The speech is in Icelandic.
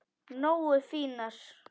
Nógu fínar?